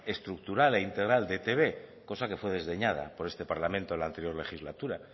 estructural e integral de e i te be cosa que fue desdeñada por este parlamento la anterior legislatura